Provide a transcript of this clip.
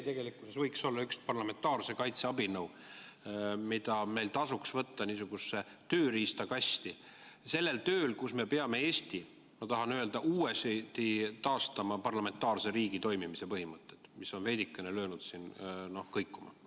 Tegelikkuses võiks see olla üks parlamentaarse kaitse abinõu, mida meil tasuks võtta niisugusesse tööriistakasti sellel tööl, kus me peame uuesti taastama Eesti kui parlamentaarse riigi toimimise põhimõtted, mis on veidikene löönud kõikuma.